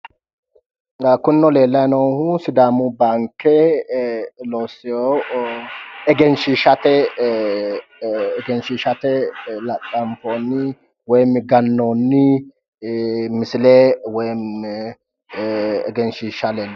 Kunino leellayi noohu sidaamu baanke ikkitewo egenshiishate laxxanfoonni woyim gannoonni misile woyim egenshiishsha leellishshanno.